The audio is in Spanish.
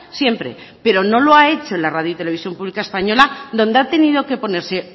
siempre pero no lo ha hecho la radio televisión pública española donde ha tenido que ponerse